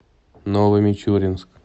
новомичуринск